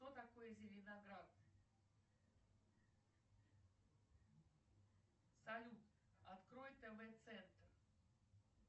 что такое зеленоград салют открой тв центр